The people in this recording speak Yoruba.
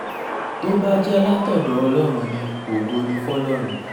tó bá jẹ́ látọ̀dọ̀ ọlọ́run ni ògo ní fọlọ́run